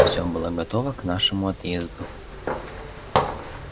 все было готово к нашему отъезду